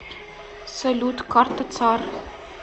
салют карта цар